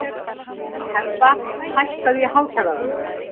Hebba, hækkaðu í hátalaranum.